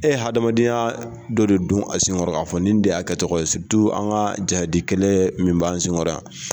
E hadamadenya dɔ de dun a senkɔrɔ a fɔ nin de y'a kɛ tɔgɔ ye, an ka jadi kɛlɛ min b'a sen kɔrɔ yan.